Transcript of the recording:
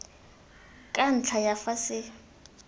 ka ntlha ya fa se